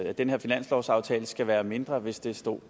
at den her finanslovsaftale skal være mindre hvis det stod